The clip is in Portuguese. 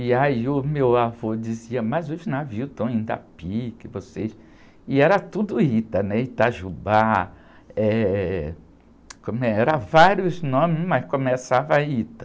E aí, o meu avô dizia, mas os navios estão indo a pique, vocês... E era tudo Ita, né? Itajubá, eh, era vários nomes, mas começava Ita.